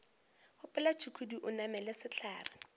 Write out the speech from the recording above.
gopola tšhukudu o namele sehlare